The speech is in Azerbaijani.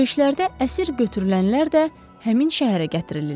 Döyüşlərdə əsir götürülənlər də həmin şəhərə gətirilirlər.